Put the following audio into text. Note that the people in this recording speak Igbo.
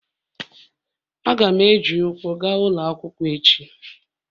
Aga m eji ụkwụ gaa ụlọ akwụkwọ echi.